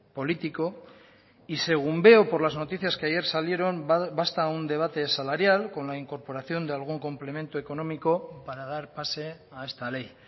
político y según veo por las noticias que ayer salieron basta un debate salarial con la incorporación de algún complemento económico para dar pase a esta ley